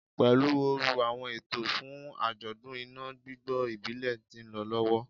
Pelu ooru, awọn eto fun ajọdun ina gbigbo ibile ti nlọ lọwọ